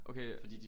Okay